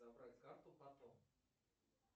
забрать карту потом